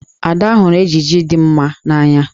Ada hụrụ ejiji dị mma n'anya.